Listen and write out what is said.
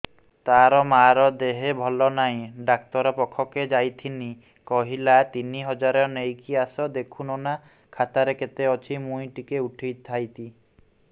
ତାର ମାର ଦେହେ ଭଲ ନାଇଁ ଡାକ୍ତର ପଖକେ ଯାଈଥିନି କହିଲା ତିନ ହଜାର ନେଇକି ଆସ ଦେଖୁନ ନା ଖାତାରେ କେତେ ଅଛି ମୁଇଁ ଟିକେ ଉଠେଇ ଥାଇତି